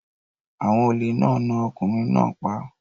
Àwọn olè náà na ọkùnrin náà pa.